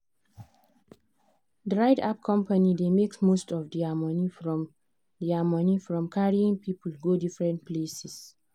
the ride app company dey make most of their money from their money from carrying people go different places.